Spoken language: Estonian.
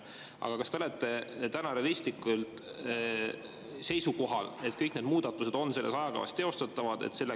Kas te olete täna ikka realistlikult seisukohal, et kõik need muudatused on selles ajakavas teostatavad?